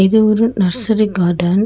இது ஒரு nursery garden .